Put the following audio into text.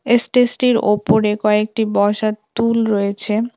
এস্টেস -টির ওপরে কয়েকটি বসার টুল রয়েছে।